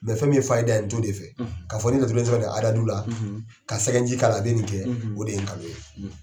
fɛn min ye n t'o de fɛ ka fɔ ko n'i ye laturuden sɛbɛn ni ka sɛgɛnji k'a la a bɛ nin de kɛ o de ye nkalon ye.